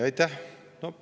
Aitäh!